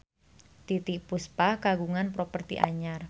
Titiek Puspa kagungan properti anyar